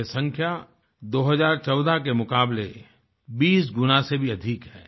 ये संख्या 2014 के मुक़ाबले 20 गुना से भी अधिक है